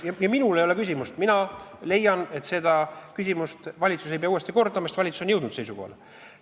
Minul ei ole probleemi, mina leian, et seda küsimust ei pea valitsus uuesti arutama, sest valitsus on jõudnud seisukohale.